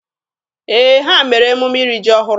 Ee, ha mere emume iri ji ọhụrụ.